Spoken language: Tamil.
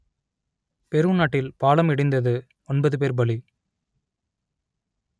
பெரு நாட்டில் பாலம் இடிந்தது ஒன்பது பேர் பலி